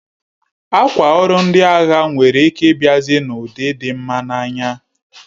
Akwa ọrụ ndị agha nwere ike ịbiazi na ụdị dị mma n'anya